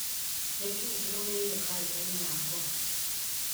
nĩ kĩĩ kĩrũmĩrĩire karenda-inĩ yakwa